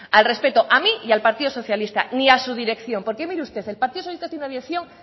al respeto a mí y a al partido socialista ni a su dirección porque mire usted el partido socialista tiene una dirección